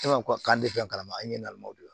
E ma ko k'an tɛ fɛn kalama an ye nalimaw de la